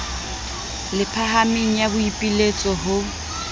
le phahameng ya boipiletso ho